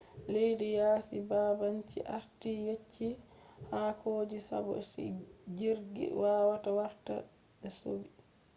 leddi yasi babanci arti yetchi hado je sabo jirgi wawata warta be sodi